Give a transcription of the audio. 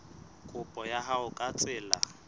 kopo ya hao ka tsela